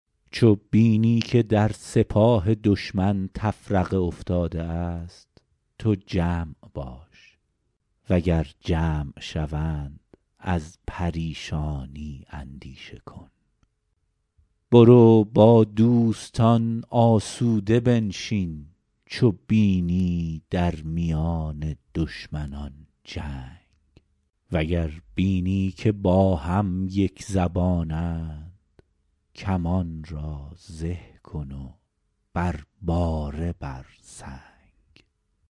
چو بینی که در سپاه دشمن تفرقه افتاده است تو جمع باش و گر جمع شوند از پریشانی اندیشه کن برو با دوستان آسوده بنشین چو بینی در میان دشمنان جنگ وگر بینی که با هم یکزبانند کمان را زه کن و بر باره بر سنگ